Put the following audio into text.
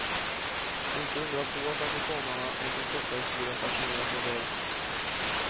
Inte undra på att amerikanarna med sin korta historia fascineras av det här.